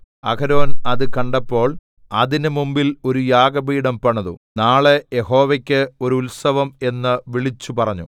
അഹരോൻ അത് കണ്ടപ്പോൾ അതിന് മുമ്പിൽ ഒരു യാഗപീഠം പണിതു നാളെ യഹോവയ്ക്ക് ഒരു ഉത്സവം എന്ന് വിളിച്ചു പറഞ്ഞു